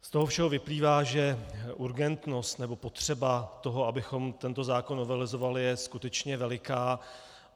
Z toho všeho vyplývá, že urgentnost nebo potřeba toho, abychom tento zákon novelizovali, je skutečně veliká.